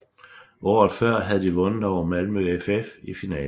Årets før havde de vundet over Malmö FF i finalen